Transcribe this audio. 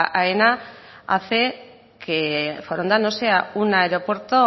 aena hace que foronda no sea un aeropuerto